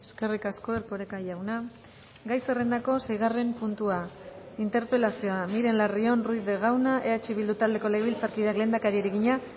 eskerrik asko erkoreka jauna gai zerrendako seigarren puntua interpelazioa miren larrion ruiz de gauna eh bildu taldeko legebiltzarkideak lehendakariari egina